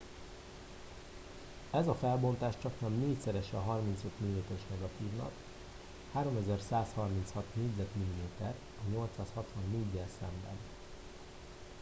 ez a felbontás csaknem négyszerese a 35 mm-es negatívnak 3 136 négyzetmilliméter a 864-gyel szemben